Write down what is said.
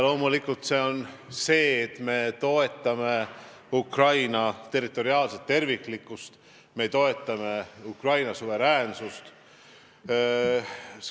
Loomulikult me toetame Ukraina territoriaalset terviklikkust, me toetame Ukraina suveräänsust.